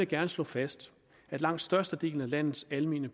gerne slå fast at langt størstedelen af landets almene